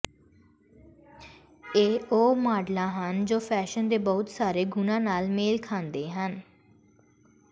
ਇਹ ਉਹ ਮਾਡਲਾਂ ਹਨ ਜੋ ਫੈਸ਼ਨ ਦੇ ਬਹੁਤ ਸਾਰੇ ਗੁਣਾਂ ਨਾਲ ਮੇਲ ਖਾਂਦੇ ਹਨ